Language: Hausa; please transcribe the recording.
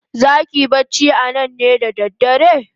Zaki yi bacci anan ne da dare?